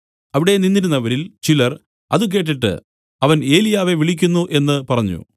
അവിടെ നിന്നിരുന്നവരിൽ ചിലർ അത് കേട്ടിട്ട് അവൻ ഏലിയാവെ വിളിക്കുന്നു എന്നു പറഞ്ഞു